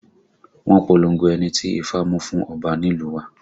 Wọ́n polongo ẹni tí ifá mú fún ọba nílùú wa